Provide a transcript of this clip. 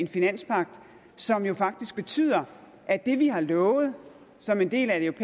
finanspagt som jo faktisk betyder at det vi har lovet som en del af et